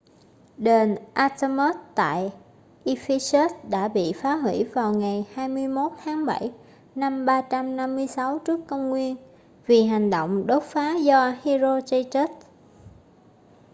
đền artemis tại ephesus đã bị phá hủy vào ngày 21 tháng 7 năm 356 tcn vì hành động đốt phá do herostratus